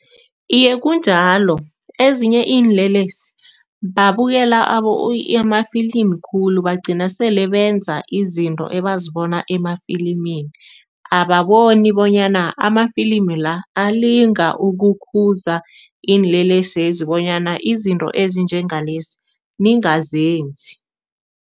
Iye, kunjalo. Ezinye iinlelesi babukela amafilimi khulu, bagcina sele benza izinto ebazibona emafilimini. Ababoni bonyana amafilimi la, alinga ukukhuza iinlelesezi bonyana izinto ezinjengalezi, ningazenzi.